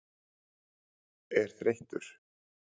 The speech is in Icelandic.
er þreyttur?